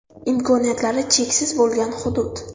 Imkoniyatlari cheksiz bo‘lgan hudud.